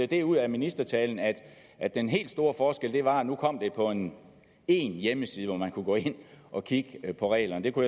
det ud af ministertalen at at den helt store forskel var at nu kom det på én én hjemmeside hvor man kunne gå ind og kigge på reglerne og